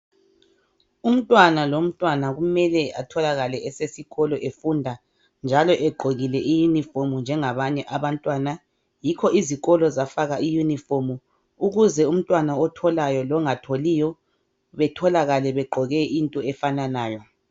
Umntwana lomtwana kumele atholakale esikolo efunda njalo egqokile I uniform njengabanye abantwana , yikho izikolo zafaka I uniform ukuze umntwana otholayo longatholiyo betholakale begqoke into efanayo